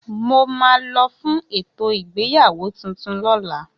Mo máa lo fún ètò ìgbéyàwó tuntun lóla